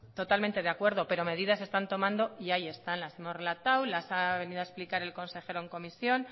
totalmente de acuerdo pero medidas se están tomando y ahí están las hemos relatados las ha venido a explicar el consejero en comisión